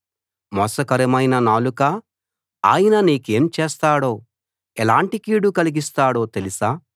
మోసకరమైన నాలుకా ఆయన నీకేం చేస్తాడో ఎలాంటి కీడు కలిగిస్తాడో తెలుసా